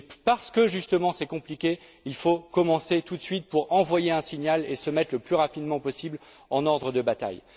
Mais c'est justement parce que c'est compliqué, qu'il faut commencer tout de suite, pour envoyer un signal et se mettre le plus rapidement possible en ordre de bataille.